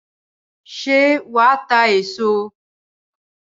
Ṣé wà á ta èso?